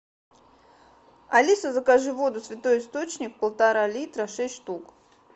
алиса закажи воду святой источник полтора литра шесть штук